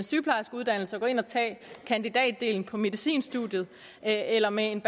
sygeplejerskeuddannelse og gå ind at tage kandidatdelen på medicinstudiet eller med en